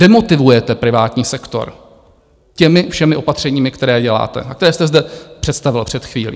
Demotivujete privátní sektor těmi všemi opatřeními, které děláte a které jste zde představil před chvílí.